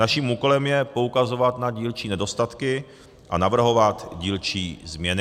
Naším úkolem je poukazovat na dílčí nedostatky a navrhovat dílčí změny.